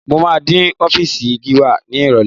Mo máa dé ọ́fíìsì Gíwá ní Ìrọ̀lẹ̀